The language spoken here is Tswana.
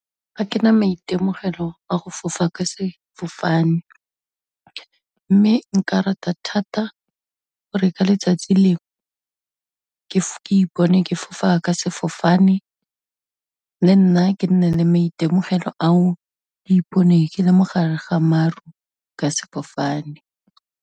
Ga ke na maitemogelo a go fofa ka sefofane, mme nka rata thata gore ka letsatsi lengwe, ke ipone ke fofa ka sefofane le nna ke nne le maitemogelo ao, ke ipone ke le mogare ga maru ka sefofane.